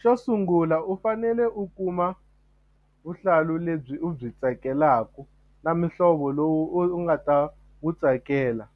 Xo sungula u fanele u kuma vuhlalu lebyi u byi tsakelaka na muhlovo lowu u nga ta wu tsakela